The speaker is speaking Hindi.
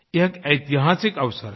यह एक ऐतिहासिक अवसर है